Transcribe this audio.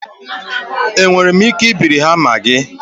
Enwere m ike ibiri hama gị?